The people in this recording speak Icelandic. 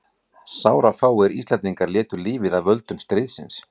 Einn vildi lækka vexti minna